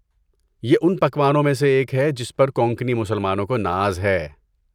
یہ ان پکوانوں میں سے ایک ہے جس پر کونکنی مسلمانوں کو ناز ہے۔